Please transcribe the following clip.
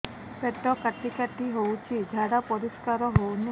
ପେଟ କାଟି କାଟି ହଉଚି ଝାଡା ପରିସ୍କାର ହଉନି